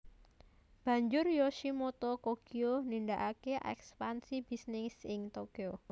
Banjur Yoshimoto Kogyo nindakakè ekspansi bisnis ing Tokyo